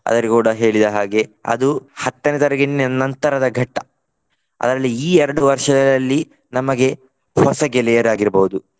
ಅದರಲ್ಲಿ ಕೂಡ ಹೇಳಿದ ಹಾಗೆ ಅದು ಹತ್ತನೇ ತರಗತಿಯ ನಂತರದ ಘಟ್ಟ. ಅದರಲ್ಲಿ ಈ ಎರಡು ವರ್ಷಗಳಲ್ಲಿ ನಮಗೆ ಹೊಸ ಗೆಳೆಯರಾಗಿರ್ಬಹುದು.